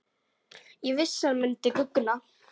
Ég vissi hann myndi guggna!